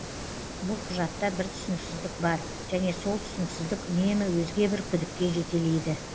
бұл құжатта бір түсініксіздік бар және сол түсініксіздік үнемі өзге бір күдікке жетелейді